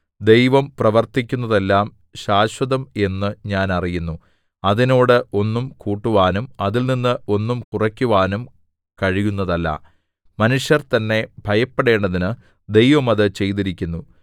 ദൈവം പ്രവർത്തിക്കുന്നതെല്ലാം ശാശ്വതം എന്നു ഞാൻ അറിയുന്നു അതിനോട് ഒന്നും കൂട്ടുവാനും അതിൽനിന്ന് ഒന്നും കുറയ്ക്കുവാനും കഴിയുന്നതല്ല മനുഷ്യർ തന്നെ ഭയപ്പെടേണ്ടതിന് ദൈവം അത് ചെയ്തിരിക്കുന്നു